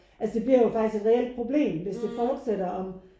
Altså det bliver jo faktisk et reelt problem hvis det fortsætter om